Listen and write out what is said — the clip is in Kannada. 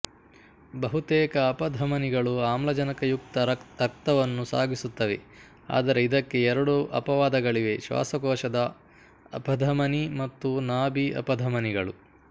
ಬಹುತೇಕ ಅಪಧಮನಿಗಳು ಆಮ್ಲಜನಕಯುಕ್ತ ರಕ್ತವನ್ನು ಸಾಗಿಸುತ್ತವೆ ಆದರೆ ಇದಕ್ಕೆ ಎರಡು ಅಪವಾದಗಳಿವೆ ಶ್ವಾಸಕೋಶದ ಅಪಧಮನಿ ಮತ್ತು ನಾಭಿ ಅಪಧಮನಿಗಳು